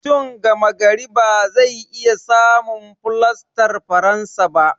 Mutum gama gari ba zai iya samun fulastar faransa ba.